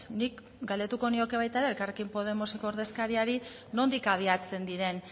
nik galdetuko nioke baita ere elkarrekin podemoseko ordezkariari nondik abiatzen diren